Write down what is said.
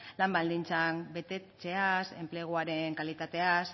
lan baldintzak betetzeaz enpleguaren kalitateaz